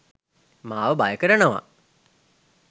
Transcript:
මාව බය කරනවා.